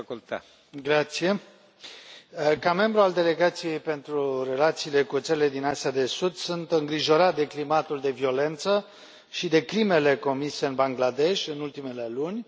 Domnule președinte, ca membru al Delegației pentru relațiile cu țările din Asia de Sud, sunt îngrijorat de climatul de violență și de crimele comise în Bangladesh în ultimele luni.